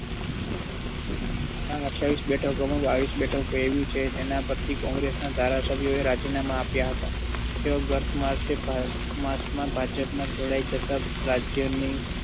આ અઠ્યાવીસ બેઠકોમાં બાવીસ બેઠકો એવી છે કે જેના પરથી congress ના ધારાસભ્યોએ રાજીનામાં આપ્યા હતા. તેઓ ગત march માં ભાજપમાં જોડાઈ જતા રાજ્યની